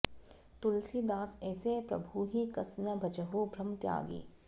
तुलसिदास ऐसे प्रभुहि कस न भजहु भ्रम त्यागि